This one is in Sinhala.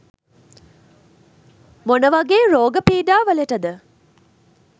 මොන වගේ රෝග පීඩාවලටද?